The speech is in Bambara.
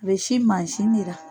A bɛ sin mansin ne la.